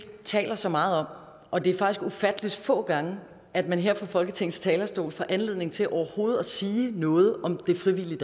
taler så meget om og det er faktisk ufattelig få gange at man her fra folketingets talerstol får anledning til overhovedet at sige noget om det frivillige